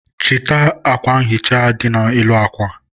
chịta akwa nhicha dị n'elu akwa